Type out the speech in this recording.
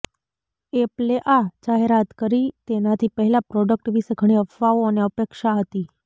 એપલે આ જાહેરાત કરી તેનાથી પહેલાં પ્રોડક્ટ વિશે ઘણી અફવાઓ અને અપેક્ષા હતી